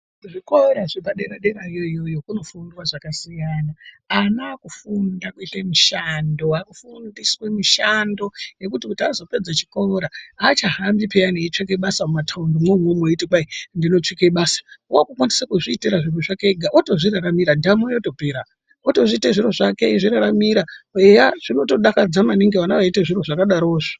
Zvikora zvepadera dera iyoyo kunofundawa zvakasiyana ana akufunda kuita mushando vava kufundiswe mushando yekuti apedza chikora havachahambi peya mumataundi mwo umomo veiyi tinotsvake basa vave kukwanisa kuzviitire zviro zvake ega oto zviraramira ndamo yotopera oto zviitire zviro zviraramira zvake eya zvinodakadza maningi vana veizviite zviro zvakezvo.